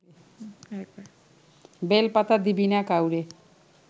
বেলপাতা দিবি না কাউরে